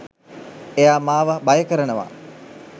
එයා මාව භය කරනවා.